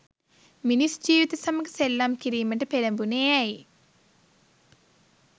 මිනිස් ජීවිත සමග සෙල්ලම් කිරීමට පෙලඹුණේ ඇයි?